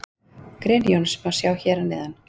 Grein Jóns má sjá hér að neðan.